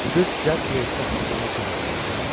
Qız cəld siqaret tapmaqda ona kömək eləmək istədi.